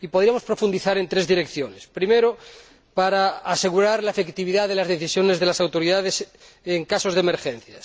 Podríamos profundizar en tres direcciones primero, para asegurar la efectividad de las decisiones de las autoridades en casos de emergencia